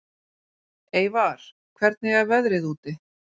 Eyvar, hvernig er veðrið úti?